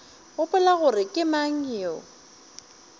gopola gore ke mang yo